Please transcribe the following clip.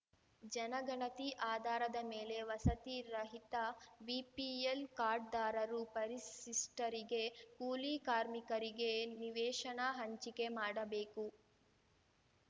ಜನಗಣತಿ ಆಧಾರದ ಮೇಲೆ ವಸತಿ ರಹಿತ ಬಿಪಿಎಲ್ ಕಾರ್ಡ್‌ದಾರರು ಪರಿಶಿಷ್ಟರಿಗೆ ಕೂಲಿ ಕಾರ್ಮಿಕರಿಗೆ ನಿವೇಶನ ಹಂಚಿಕೆ ಮಾಡಬೇಕು